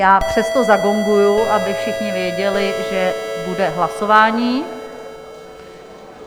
Já přesto zagonguji, aby všichni věděli, že bude hlasování.